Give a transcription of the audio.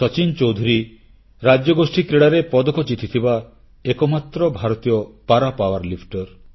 ସଚିନ ଚୌଧୁରୀ ରାଜ୍ୟଗୋଷ୍ଠୀ କ୍ରୀଡ଼ାରେ ପଦକ ଜିତିଥିବା ଏକମାତ୍ର ଭାରତୀୟ ପାରା ପାୱରଲିଫ୍ଟର